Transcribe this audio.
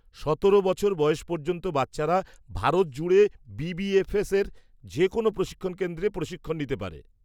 সতেরো বছর বয়স পর্যন্ত বাচ্চারা ভারত জুড়ে বি.বি.এফ.এসের যে কোনো প্রশিক্ষণ কেন্দ্রে প্রশিক্ষণ নিতে পারে।